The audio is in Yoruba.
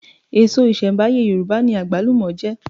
Èso ìṣẹ̀m̀báyé Yorùbá ni àgbálùmọ̀ jẹ́